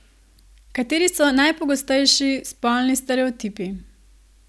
Kateri so najpogostejši spolni stereotipi?